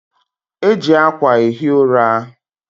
E ji akwa ehi ụra